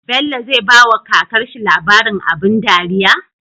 Bello zai bawa kakar shi labarin abun dariya